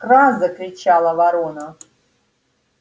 кра закричала ворона